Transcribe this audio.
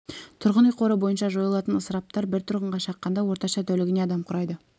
тұрғын үй қоры бойынша жойылатын ысыраптар бір тұрғынға шаққанда орташа тәулігіне адам құрайды